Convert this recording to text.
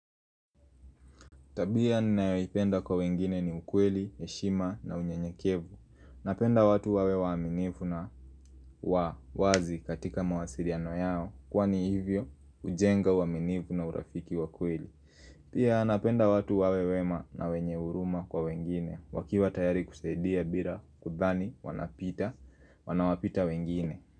Tabia ninaipenda kwa wengine ni ukweli, eshima na unyenyekevu Napenda watu wawe waminivu na wazi katika mawasiriano yao Kwani hivyo ujenga waminivu na urafiki wakweli Pia napenda watu wawewema na wenyeuruma kwa wengine wakiwa tayari kusaidia bila kudhani wanapita, wanawapita wengine.